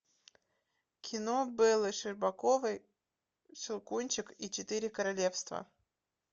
кино беллы щербаковой щелкунчик и четыре королевства